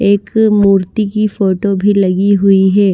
एक मूर्ति की फोटो भी लगी हुई है।